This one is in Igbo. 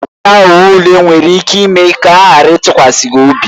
Ịghọ aghụghọ ule nwere ike ime ka ha ghara ịtụkwasị gị obi.